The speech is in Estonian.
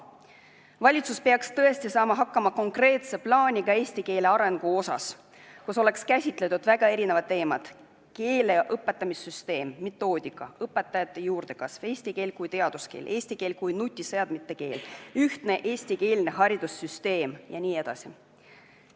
Valitsus peaks tõesti koostama konkreetse plaani eesti keele arengu kohta, milles oleks käsitletud erinevaid teemasid, sealhulgas keele õpetamise süsteemi ja metoodikat, õpetajate juurdekasvu, eesti keelt kui teaduskeelt, eesti keelt kui nutiseadmete keelt, ühtset eestikeelset haridussüsteemi jne.